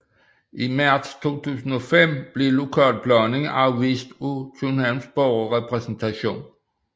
I marts 2005 blev lokalplanen afvist af Københavns Borgerrepræsentation